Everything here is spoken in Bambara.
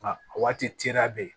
Nka a waati cɛya bɛ yen